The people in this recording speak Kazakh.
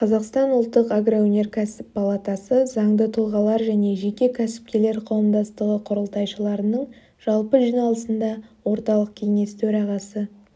қазақстан ұлттық агроөнеркәсіп палатасы заңды тұлғалар және жеке кәсіпкерлер қауымдастығы құрылтайшыларының жалпы жиналысында орталық кеңес төрағасы